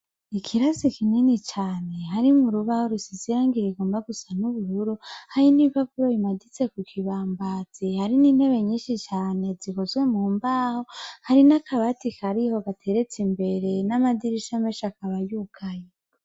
Ikirasi kinini cane harimwo urubaho rugomba gusa n' ubururu hari n' ibipapuro bimanitse kukibambazi hari n' intebe nyinshi cane zikozwe mumbaho hari n' akabati kariho gateretse imbere n' amadirisha akaba yugaye.